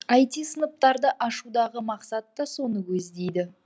іт сыныптарды ашудағы мақсат та соны көздейді